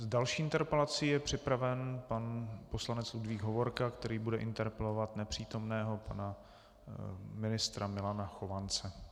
S další interpelací je připraven pan poslanec Ludvík Hovorka, který bude interpelovat nepřítomného pana ministra Milana Chovance.